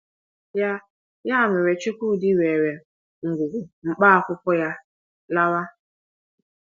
Ya Ya mere, Chukwudi weere ngwugwu mkpá akwụkwọ ya lawa.